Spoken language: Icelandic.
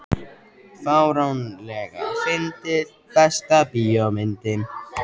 fáránlega fyndið Besta bíómyndin?